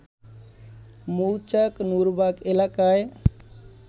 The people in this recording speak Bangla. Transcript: মৌচাক নূরবাগ এলাকায়